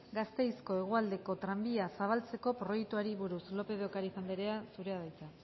gasteizko hegoaldeko tranbia zabaltzeko proiektuari buruz lópez de ocariz andrea zurea da hitza